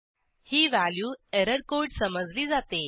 ही value error code समजली जाते